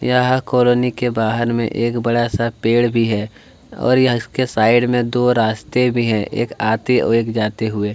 यहाँ कोलोनी के बाहर में एक बड़ा सा पेड़ भी है और इसके साइड में दो रास्ते भी है एक आते और एक जाते हुए--